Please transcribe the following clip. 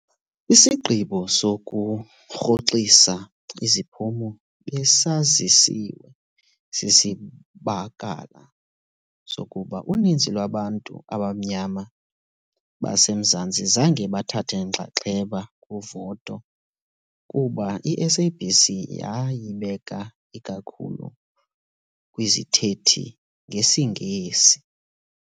Isigqibo sokurhoxisa iziphumo besazisiwe sisibakala sokuba uninzi lwabantu abamnyama base Mzantsi zange bathathe inxaxheba kuvoto, kuba iSABC yayibeka ikakhulu kwizithethi zesiNgesi.